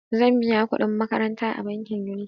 Zan biya kuɗin makaranta a bankin Unity.